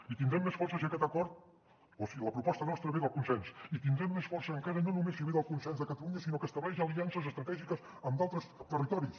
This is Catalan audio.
i tindrem més força si aquest acord o si la proposta nostra ve del consens i tindrem més força encara no només si ve del consens de catalunya sinó que estableix aliances estratègiques amb altres territoris